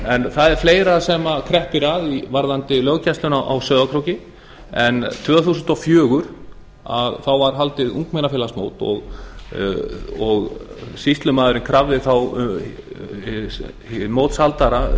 sé að ræða fleira kreppir að varðandi löggæsluna á sauðárkróki árið tvö þúsund og fjögur var haldið ungmennafélagsmót og sýslumaðurinn krafði mótshaldara